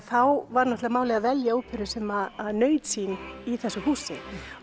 þá var málið að velja óperu sem naut sín í þessu húsi